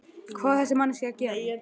Hvað á þessi manneskja að gera?